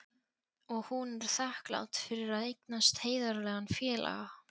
Og hún er þakklát fyrir að eignast heiðarlegan félaga.